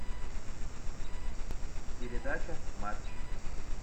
передача матч